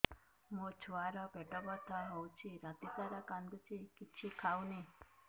ମୋ ଛୁଆ ର ପେଟ ବଥା ହଉଚି ରାତିସାରା କାନ୍ଦୁଚି କିଛି ଖାଉନି